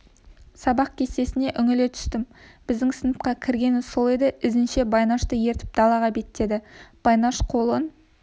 сабақ кестесіне үңіле түстім біздің сыныпқа кіргені сол еді ізінше байнашты ертіп далаға беттеді байнаш қолын